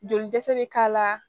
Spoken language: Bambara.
Joli dɛsɛ be k'a la